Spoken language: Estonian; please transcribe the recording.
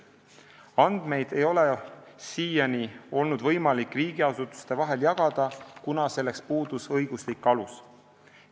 Andmeid ei ole siiani olnud võimalik riigiasutuste vahel jagada, kuna selleks on puudunud õiguslik alus.